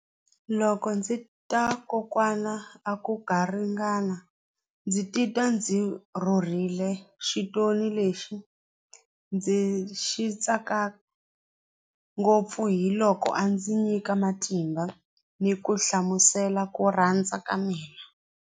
Loko ndzi ta kokwana a ku garingani ndzi titwa ndzi rhurhile xitori lexi ndzi xi tsaka ngopfu hi loko a ndzi nyika matimba ni ku hlamusela ku rhandza ka mina.